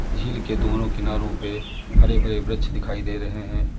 झील के दोनों किनारों पे हरे भरे वृक्ष दिखाई दे रहे हैं।